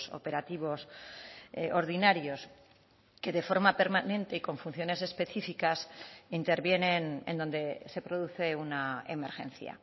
operativos ordinarios que de forma permanente y con funciones específicas intervienen en donde se produce una emergencia